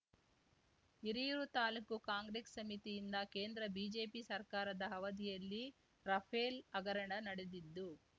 Hiriyur taluk Congress ಸಮಿತಿಯಿಂದ ಕೇಂದ್ರ BJP ಸರ್ಕಾರದ ಅವಧಿಯಲ್ಲಿ ರಫೆಲ್‌ ಹಗರಣ ನಡೆದಿದ್ದು